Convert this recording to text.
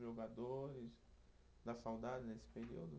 Jogadores, dá saudade desse período?